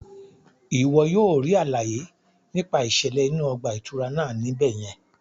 Iwọ yóò ríi àlàyé nípa iṣẹlẹ inú ọgbà itúrá náà ní ibẹ yẹn